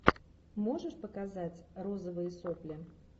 можешь показать розовые сопли